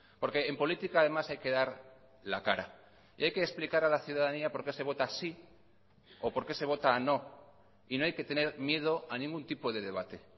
porque en política además hay que dar la cara y hay que explicar a la ciudadanía por qué se vota sí o por qué se vota no y no hay que tener miedo a ningún tipo de debate